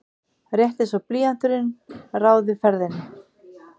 Rétt einsog blýanturinn ráði ferðinni.